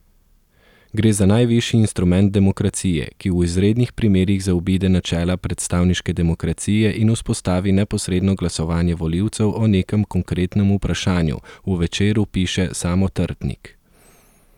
Gre za najvišji instrument demokracije, ki v izrednih primerih zaobide načela predstavniške demokracije in vzpostavi neposredno glasovanje volivcev o nekem konkretnem vprašanju, v Večeru piše Samo Trtnik.